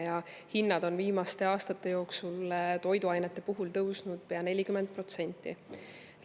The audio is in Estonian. Toiduainete hinnad on viimaste aastate jooksul tõusnud pea 40%.